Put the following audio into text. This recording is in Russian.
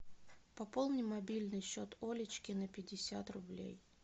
пополни мобильный счет олечки на пятьдесят рублей